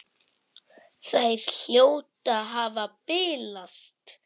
Þær hljóta að hafa bilast!